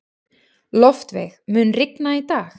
Loftveig, mun rigna í dag?